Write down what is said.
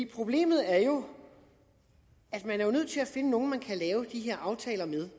problemet er jo at man er nødt til at finde nogle man kan lave de her aftaler med